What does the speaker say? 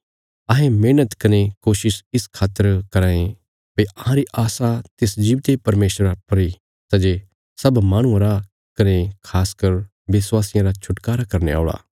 अहें मेहणत कने कोशिश इस इ खातर कराँ ये भई अहांरी आशा तिस जीवते परमेशरा पर इ सै जे सब माहणुआं रा कने खास कर विश्वासियां रा छुटकारा करने औल़ा